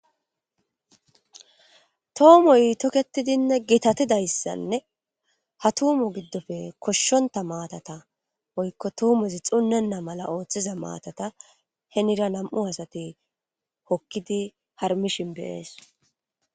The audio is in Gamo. Toomoy toketidinne gitatidayssanne ha tuumo giddofe koshshonta maatata oykko tuumezi xunnenna mala ooththiza maatata henira nam'u asate hokkidi harmishin beyees.